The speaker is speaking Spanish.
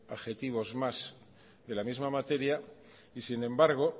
adjetivos más de la misma materia y sin embargo